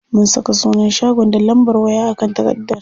Mun saka sunan shagon da lambar waya a kan takardar.